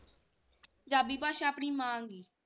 ਪੰਜਾਬੀ ਭਾਸ਼ਾ ਆਪਣੀ ਮਾ,